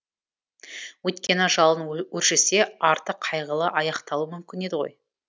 өйткені жалын өршісе арты қайғылы аяқталуы мүмкін еді ғой